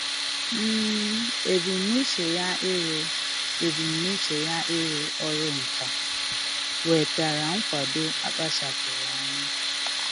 um Ebumnuche ya ịrụ Ebumnuche ya ịrụ ọrụ nka nwetara nkwado a kpachapụụrụ anya.